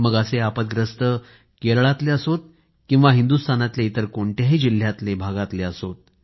मग अशी आपत्ती केरळमधे असोत किंवा हिंदुस्तानमधल्या इतर कोणत्याही जिल्ह्यात भागात असो